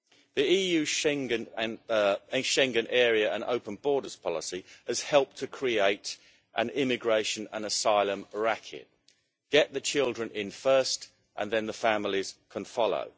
The EU Schengen Area and open borders policy has helped to create an immigration and asylum racket get the children in first and then the families can follow.